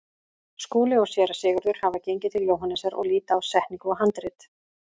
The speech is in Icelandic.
Skúli og Séra Sigurður hafa gengið til Jóhannesar og líta á setningu og handrit.